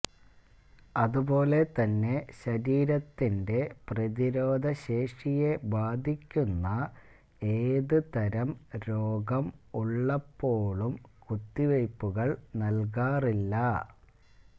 അതുപോലെത്തന്നെ ശരീരത്തിന്റെ പ്രതിരോധശേഷിയെ ബാധിക്കുന്ന ഏതുതരം രോഗം ഉള്ളപ്പോഴും കുത്തിവയ്പുകള് നല്കാറില്ല